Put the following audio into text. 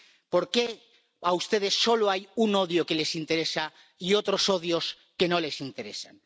¿Por qué, a ustedes, solo hay un odio que les interesa y otros odios que no les interesan?